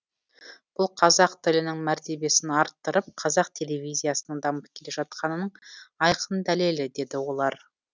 бұл қазақ тілінің мәртебесін арттырып қазақ телевизиясының дамып келе жатқанының айқын дәлелі деді олар